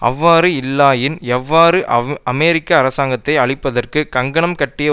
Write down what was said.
அவ்வாறு இல்லையாயின் எவ்வாறு அமெரிக்க அரசாங்கத்தை அழிப்பதற்கு கங்கணம் கட்டிய